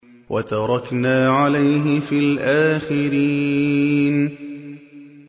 وَتَرَكْنَا عَلَيْهِ فِي الْآخِرِينَ